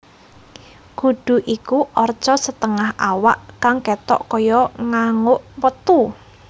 Kudu iku arca setengah awak kang ketok kaya nganguk metu